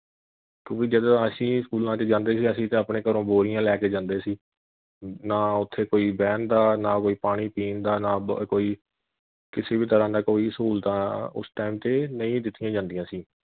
ਕਿਉਕਿ ਜਦੋ ਅਸੀਂ ਸਕੂਲਾਂ ਵਿਚ ਜਾਂਦੇ ਸੀ ਅਸੀਂ ਤਾਂ ਆਪਣੇ ਘਰੋਂ ਬੋਰੀਆਂ ਲੈ ਕੇ ਜਾਂਦੇ ਸੀ ਨਾ ਉਥੇ ਕੋਈ ਬਹਿਣ ਦਾ ਨਾ ਕੋਈ ਪਾਣੀ ਪੀਣ ਦਾ ਨਾ ਕੋਈ ਕਿਸੇ ਵੀ ਤਰ੍ਹਾਂ ਦਾ ਕੋਈ ਸਹੂਲਤਾਂ ਉਸ time ਤੇ ਨਹੀਂ ਦਿੱਤੀਆਂ ਜਾਂਦੀਆਂ ਸੀ।